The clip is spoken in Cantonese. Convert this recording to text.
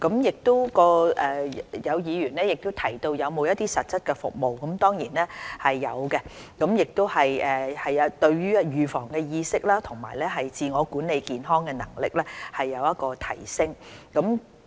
有議員問及中心有否實質的服務，這當然是會有的，希望服務能對於市民預防的意識和自我管理健康的能力有所提升。